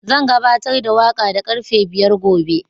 Zan gabatar da waƙa da karfe biyar gobe.